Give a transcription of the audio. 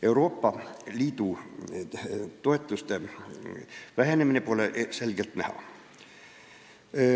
Euroopa Liidu toetuste vähenemine pole selgelt näha.